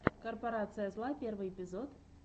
корпорация зла первый эпизод